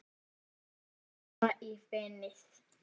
Dýpra í fenið